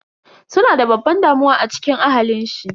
Suna da babban damuwa a cikin ahalin shi.